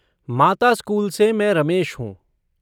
माता स्कूल से मैं रमेश हूँ।